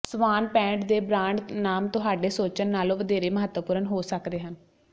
ਸਵਾਨਪੈਂਡ ਦੇ ਬਰਾਂਡ ਨਾਮ ਤੁਹਾਡੇ ਸੋਚਣ ਨਾਲੋਂ ਵਧੇਰੇ ਮਹੱਤਵਪੂਰਨ ਹੋ ਸਕਦੇ ਹਨ